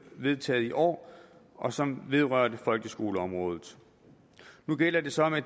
vedtaget tidligere i år og som vedrørte folkeskoleområdet nu gælder det så